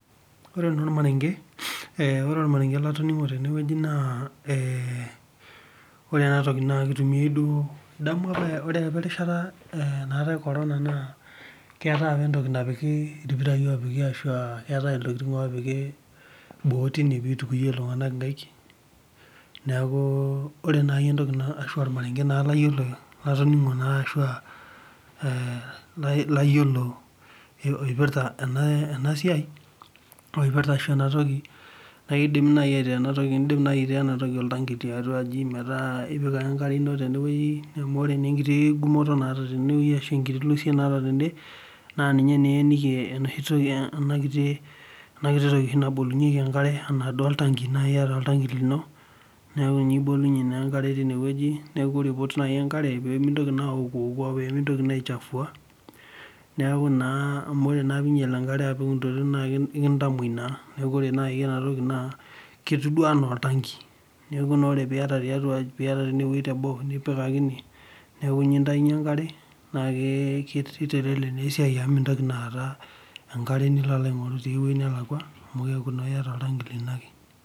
Ore naa ormarenge, ore ormarenge latoning'o teneweji naa ore enatoki naa eitumiya duo, idamu apa napa rishata enaatae corona naa keatae apa entoki napiki irpirai oopiki ashu eatae ntokitin oopiki boo teine peitujuye ltunganak inkaik, naaku ore nai entoki naa ashu ormarenge na laiyolo latoning'o na shu aa layiolo eipirta ena siai, naipirta ashu enatoki, naa eidim naii aitaa enatoki oltangi tiatua aji meetaa ipiki ake enkare ino reneweji amu ore enkiti gumoto naata teweji ashu enkiti lusee naata tende naa ninye naa ieniki enakiti toki nabolunyeki enkare ana duo oltang'i, naa ieta oltang'i lino naaku ninye ibolunye naa enkare teineweji, naaku kore pelotu naii enkare peemintoki naa aoku'oku, peemintoki naa aichafua, naaku naa amu ore naa piinyal enkare apik intokitin naa ekiinyal naa ekintamoi naa, naaku kore naii enatoki naa ketiu duo anaa oltangi, naaku naa ore pieta teineweji te boo, nipik akinyi naaku inie intainye enkare naa keitelelek naa esiai amu mintoki aata enkare nilo aing'oru teweji nelakwa amu keaku naa ieta oltang'i lino ake.